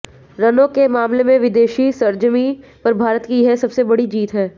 रनों के मामले में विदेशी सरजमीं पर भारत की यह सबसे बड़ी जीत है